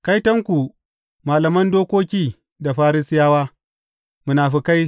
Kaitonku, malaman dokoki da Farisiyawa, munafukai!